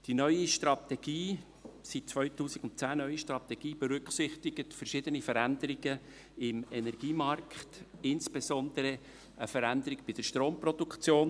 Die seit 2010 neue Strategie berücksichtigt verschiedene Veränderungen im Energiemarkt, insbesondere eine Veränderung bei der Stromproduktion.